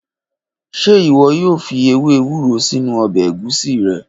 Ṣe iwọ yoo fi ewe ewuro sinu ọbẹ egusi rẹ?